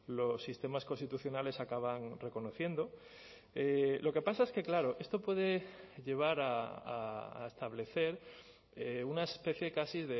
los sistemas constitucionales acaban reconociendo lo que pasa es que claro esto puede llevar a establecer una especie casi